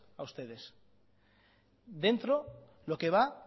a ustedes dentro lo que va